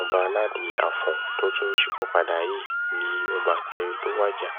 ọbaládi afọn tó tún ṣípòpadà yìí ni ọba kẹrin tó wájà